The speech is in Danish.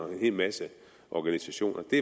hel masse organisationer der